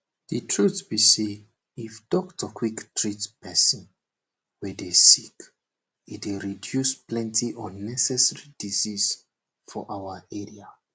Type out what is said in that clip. di truth be say if doctor quick treat pesin wey dey sick e go reduce plenty unnecessary disease for our area